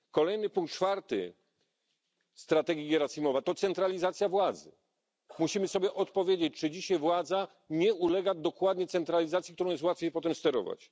Kolejny punkt, czwarty, strategii Gierasimowa to centralizacja władzy musimy sobie odpowiedzieć, czy dzisiaj władza nie ulega właśnie centralizacji, którą jest łatwiej potem sterować?